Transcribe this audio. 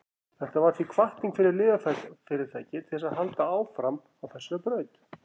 þetta varð því hvatning fyrir lyfjafyrirtæki til að halda áfram á þessari braut